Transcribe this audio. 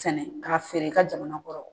Sɛnɛ k'a feere i ka jamana kɔrɔ